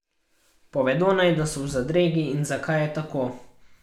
Povedo naj, da so v zadregi in zakaj je tako.